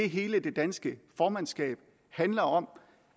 hele det danske formandskab handler om